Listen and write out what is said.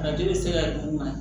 Arajo bɛ se ka di u ma